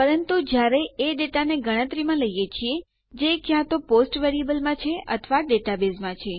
પરંતુ જ્યારે એ ડેટાને ગણતરીમાં લઈએ છીએ જે ક્યાં તો તે પોસ્ટ વેરીએબલોમાં છે અથવા ડેટાબેઝમાં છે